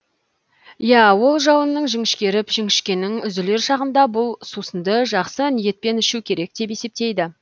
иә ол жуанның жіңішкеріп жіңішкенің үзілер шағында бұл сусынды жақсы ниетпен ішу керек деп есептейді